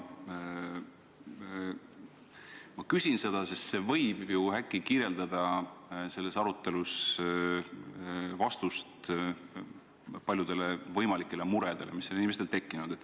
Ma küsin seda, sest vastus võib äkki anda lahenduse paljudele võimalikele muredele, mis inimestel tekkinud on.